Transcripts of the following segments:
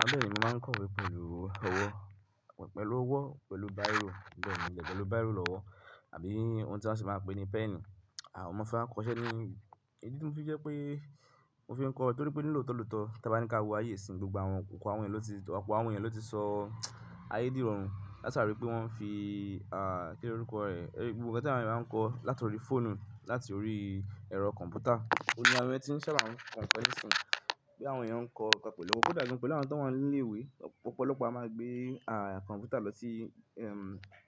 Bẹ́ẹ̀ni mo maa n kọ ìwé pẹ̀lú ọwọ́, pẹ̀lú ọwọ́, pẹ̀lú báyìrò, bẹ́ẹ̀ ni, pẹ̀lú báyìrò lọ́wọ́ àbí ohun tí wọ́n sì máa pè ní pẹ́ẹ̀nì. Àwọn ọmọ fẹ́ wa kọ̀ọ́ṣe ni, idi tí mo fi jẹ́ pé mo fi ń kọ, torí pé ní lò tó lọ̀tọ̀ tí a bá ní kí a wo ayé ìsìn, gbogbo àwọn kòkò àwọn èèyàn lọ ti, opoo àwọn èèyàn lọ ti sọ ayé dìrọ̀rùn látàrí pé wọ́n fi, kíni orúkọ rẹ̀? Gbogbo àwọn tí àwọn èèyàn máa ń kọ látàrí fóònù láti orí ẹ̀rọ kọ̀ǹpútà. Óun ni àwọn ẹyan tí ń sábà ko nkan ni sìn, bí àwọn èèyàn ń kọ nkan pẹ̀lú. Kódà gan pélu àwọn tó wa ńi ilé ìwé, ọ̀pọ̀lọpọ̀ a máa gbé, kọ̀ǹpútà lọ sí,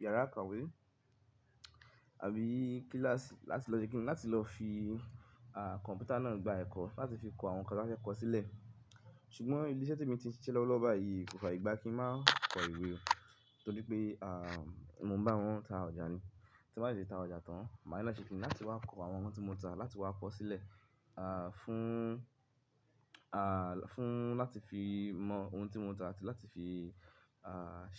yàrá ìkàwé àbí kíláàsì láti lọ ṣe kínní, láti lọ fi, kọ̀ǹpútà náà gba ẹ̀kọ́ láti fi kọ àwọn nǹkan tí wọ́n fẹ́ kọ sílẹ̀. Ṣùgbọ́n ilé iṣẹ́ tí mo ti ń ṣiṣẹ́ lọ́wọ́ lọ́ba yìí kò fàyè gbá kí n máa kọ ìwé, torí pé, mo ń bá wọn ta ọjà ni. Ti mo bá ti ta ọjà tán, màá ní láti ṣe kíni láti wá kọ àwọn ohun tí mo ta láti wá kọ sílẹ̀, fún, fún láti fi mọ ohun tí mo ta àti láti fi,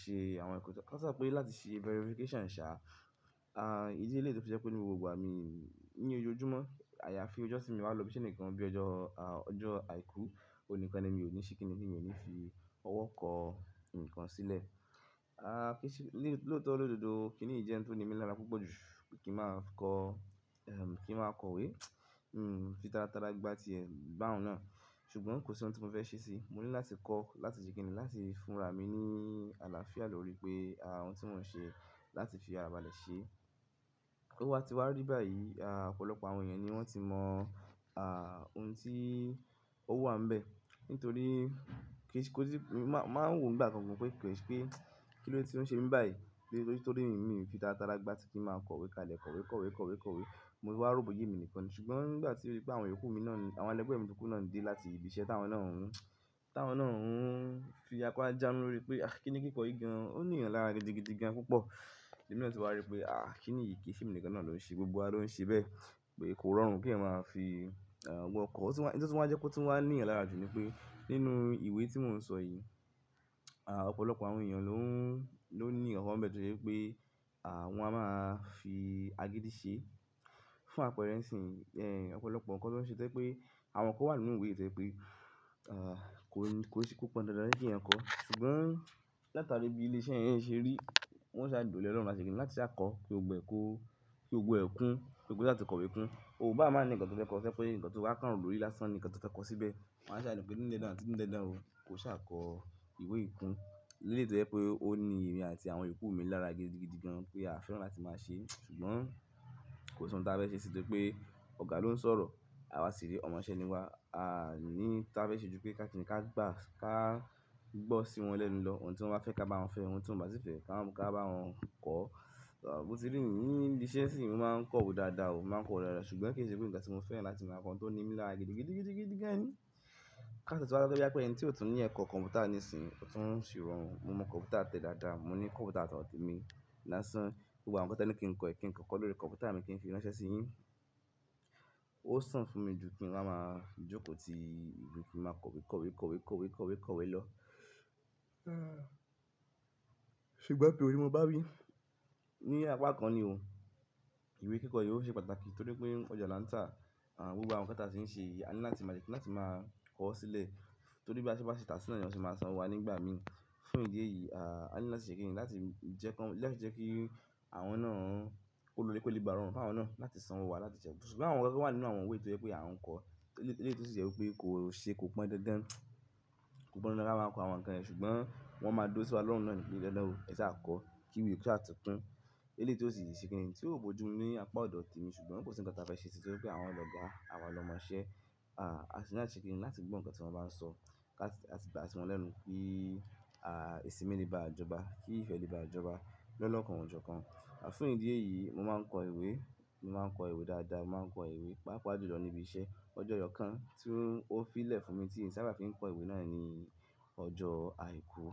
ṣe àwọn ẹ̀kọ́ tán. Láti ṣe verification ṣá, ìdí eléyi to fi jẹ́ pé nínú gbogbo àmì ní ojoojúmọ́, àyàfi ọjọ́ tí mi o bá lò bí iṣẹ́ nìkan bíi ọjọ́, ọjọ́ àìkú, òun ni kan ni mi ò ní ṣe kínní, ni mi ò ní fi ọwọ́ kọ ǹkan sílẹ̀. Kí ṣe li loto lọ̀dọ̀dọ́, kíniyi je oun tí o ní mi lára púpọ̀ jù kí n máa kọ, kí n máa kọ ìwé? Hmm, fi tara tara gbá ti ẹ̀ bá òun náà. Ṣùgbọ́n kò sí ohun tí mo fẹ́ ṣe sí i. Mo ní láti kọ láti ṣe kínní láti fúnra mi ní àlàáfíà lórí pé, ohun tí mò ń ṣe láti fi ara balẹ̀ ṣe. O wá ti wá rí báyìí, ọ̀pọ̀lọpọ̀ àwọn èèyàn ni wọ́n ti mọ, ohun tí ó wà ń bẹ́ẹ̀, nítorí kí ṣe kó ti, màá, màá wo nìgbà kan pé kí ṣe pé kí lóde tí ó ń ṣe mi báyìí, torí, torí mi fi tara tara gbá tí kí n máa kọ ìwé kalẹ̀, kọ̀wé, kọ̀wé, kọ̀wé, kọ̀wé. Mo fi wá ro boya emi nìkan. Ṣùgbọ́n ìgbà tí o dí pé àwọn èyoku mi náà ni, àwọn ẹlẹ́gbẹ́ mi tókù náà ń dé láti ibi iṣẹ́ táwọn náà ń, táwọn náà ń fi apá jánu lórí pé, "Ah, kíni kíkọ yìí gan an? Ó ní eyàn lára gidi gidi gan púpọ̀." Ẹ̀mí náà ti wá rí pé, "Ah, kíni yìí kì í ṣe mi nìkan náà ló ń ṣe, gbogbo wa ló ń ṣe bẹ́ẹ̀." pé kò rọrùn kí ẹyan máa fi, ọwọ́ kọ. Ọ̀tún n tí wọ́n wa jẹ́ kó tún wá ní ìyàn lára jù ni pé nínú ìwé tí mò ń sọ yìí, ọ̀pọ̀lọpọ̀ àwọn èèyàn ló ń, ló ní nkankan bẹ́ẹ̀ tose pé, wọ́n a máa fi agídí ṣe fún apẹ̀rẹ̀ nsin. Ọ̀pọ̀lọpọ̀ nǹkan tí wọ́n ṣe tẹ́ se pe àwọn nǹkan wà nínú ìwé tẹ́ je pé, kò ní, kò se pe o pọn dandan kí ìyẹn kọ̀. Ṣùgbọ́n látàrí bí ilé iṣẹ́ yẹn ṣe rí, wọ́n ṣàduro le e lọ́run láti ṣe kínní láti ṣà kọ kí gbogbo ẹ ko kí gbogbo ẹ kún, kí gbogbo ṣá tí kọ̀wé kún. Ò bá máa ní nǹkan tí ó fẹ́ kọ, tó jẹ́ pé nǹkan tó bá kàn rò lórí lásán ni nǹkan tí ó fẹ́ kọ síbẹ̀. Wọ́n á ṣàni pé ní dándan àti ní dándán ò, kò ṣà kọ ìwé yìí kún. Lele yìí to je pé ó ní èmi àti àwọn iyòkú mi lára gidi gidi gan pẹ́ à fẹ́ràn láti máa ṣe. Ṣùgbọ́n kò sí ohun tí a fẹ́ ṣe torí pé ọ̀gá ló ń sọ̀rọ̀, àwa sì re ọmọṣẹ́ ni wá, à ní táa fẹ́ ṣe ju pé ká ti ní ká gbá, ká gbọ́ sí wọn lẹ́nu lọ. Ohun tí wọ́n bá fẹ́ ká bá wọn fẹ́, ohun tí wọ́n bá sì fẹ́ ká bá wọn kọ́. Bo tí rí nìyí, ni ibiṣẹ́ sì mi máa ń kọ ìwé dáadáa o, máa ń kọ ìwé dáadáa. Ṣùgbọ́n kì í ṣe pé nkan tí mo fẹ́ràn láti máa kọ ohun tó ní mi lára gidi gidi gidi gidi gidi gan ni. Káti e tun wa so pé boya ẹni tí ò tún ní ẹ̀kọ́ kọ̀ǹpútà nísìnyí ò tún sì rọrùn. Mo mọ kọ̀ǹpútà tẹ́ dáadáa, mo ní kọ̀ǹpútà ti odo temi lásán. Gbogbo àwọn nǹkan tí ẹ ní kí n kọ̀ ẹ́, kí n kọ̀ ọ́ kọ́ lórí kọ̀ǹpútà mi kí n fi ránṣẹ́ sí yín. Ó sàn fún mi ju kí n wáa máa jókòó ti ìwé kí n máa kọ̀wé, kọ̀wé, kọ̀wé, kọ̀wé, kọ̀wé, kọ̀wé lọ. Ṣùgbọ́n to òní mo bá wí, ní apá kan ni o, ìwé kíkọ yìí ó ṣe pàtàkì torí pé ọjọ́ lanta, gbogbo àwọn nǹkan tí a sì ń ṣe yìí, a ní láti máa se kini láti máa kọ̀ ọ́ sílẹ̀. Torí bí a se bá ṣe tàá sína, ni won se máa san wá nígbà mi. Fún ìdí èyí, a ní láti ṣe kínní láti jẹ́ kí wọn, láti jẹ́ kí àwọn náà ó lórí pé ó kè ba rọrùn fún àwọn náà láti san wá láti jẹ́. Ṣùgbọ́n àwọn nǹkan tó wà nínú àwọn ìwé tó jẹ́ pé à ń kọ, ile iléyi tí ó sì jẹ́ pé kò ṣe, kò pọn dandan. Kò pọn dandan ka máa kọ àwọn nǹkan yen, ṣùgbọ́n wọ́n máa dùro sí wa lọ́run náà ní pe dandan òoo, ẹ̀ṣà kọ́, kí ìwé kò ṣá tó kún. Ilé yìí tó sì ṣe kínní tí ó bo ju ní apá ọ̀dọ̀ te mi, ṣùgbọ́n kò sí nǹkan tí a fẹ́ ṣe torí pé àwọn ọlọ́gá àwa lọmọṣẹ́, asi ni láti se kini lato gbo nkan ti won ba n so ka si gba si won lẹ́nu ki. Ìsinmi leba joba, ki ìfẹ́ le ba joba lolokan jokan fún idi èyí mo maa n ko ìwé mo maa n ko ìwé dáadáa mo maa n ko ìwé papa jùlọ ni ibise ojo eyokan ti o fi le fún mi ti n sábà fi kọ̀wé ni ojo àìkú.